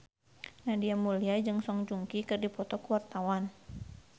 Nadia Mulya jeung Song Joong Ki keur dipoto ku wartawan